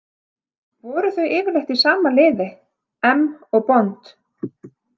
Væru þau yfirleitt í sama liði, M og Bond?